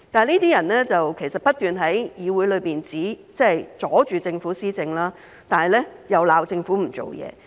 這些人不斷在議會內阻礙政府施政，但卻責罵政府不做事。